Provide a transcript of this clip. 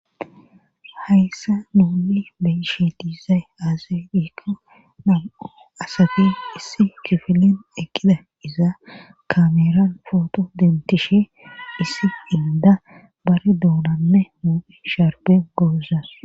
Hayssa nuuli beyshe diizay azadikka namo asafe issi kifinen eqqida izaa kameran footo dentishe issi inda bare duunanne mu'i sharbe gooza.